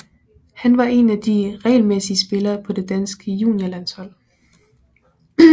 Han var en af de regelmæssige spillere på det danske juniorlandshold